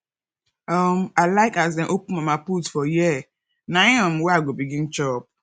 um i like as dem open mamaput for here na um where i go begin chop